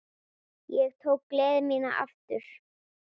Ég tók gleði mína aftur.